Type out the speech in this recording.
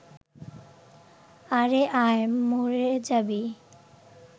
আরে আয়, মরে যাবি